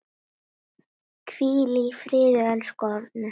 Hvíl í friði, elsku Árni.